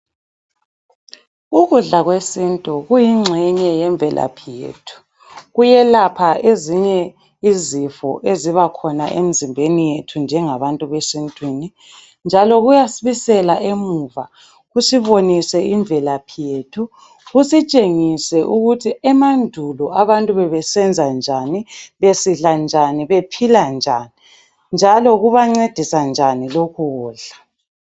Ukudla kwesintu kuyingxenye yemvelaphi yethu. Kuyelapha ezinye izifo ezibakhona emzimbeni yethu njengabantu besintwini njalo kuyasibisela emuva kusibonise imvelaphi yethu, kusitshengise ukuthi emandulo abantu bebesenza njani, besidla njani bephila njani njalo kubancedisa njani lokhu kudla.